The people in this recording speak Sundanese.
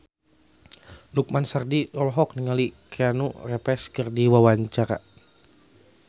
Lukman Sardi olohok ningali Keanu Reeves keur diwawancara